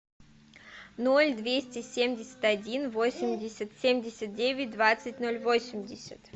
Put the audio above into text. ноль двести семьдесят один восемьдесят семьдесят девять двадцать ноль восемьдесят